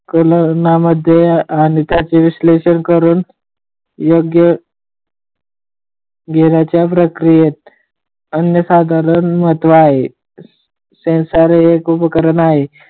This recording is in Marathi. संकलनामध्ये अनेकांचे विश्लेषण करून योग्य घेण्याच्या क्रियेत अनन्य साधारण महत्व आहे, सेन्सर हे उपकरण आहे.